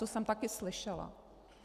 To jsem také slyšela.